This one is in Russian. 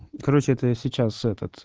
короче это сейчас этот